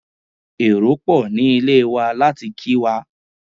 Èrò pò ní ilé wa láti kí wa.